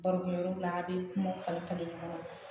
Barokɛyɔrɔ la a' bɛ kuma falen falen ɲɔgɔn na